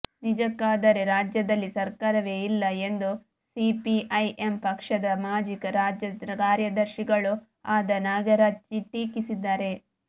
ನಿಜಕ್ಕಾದರೆ ರಾಜ್ಯದಲ್ಲಿ ಸರಕಾರವೇ ಇಲ್ಲ ಎಂದು ಸಿಪಿಐಎಂ ಪಕ್ಷದ ಮಾಜಿ ರಾಜ್ಯ ಕಾರ್ಯದರ್ಶಿಗಳೂ ಆದ ನಾಗರಾಜ್ ಟೀಕಿಸಿದರು